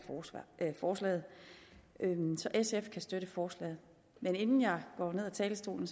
af forslaget så sf kan støtte forslaget men inden jeg går ned af talerstolen